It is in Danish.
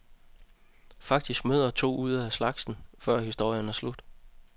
Faktisk møder han to af slagsen, før historien er slut.